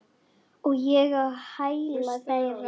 Og ég á hæla þeirra.